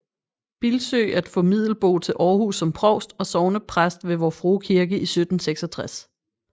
Bildsøe at få Middelboe til Aarhus som provst og sognepræst ved Vor Frue Kirke i 1766